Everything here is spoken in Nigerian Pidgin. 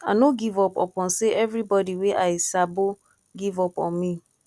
i no give up upon sey everybodi wey i sabo give up on me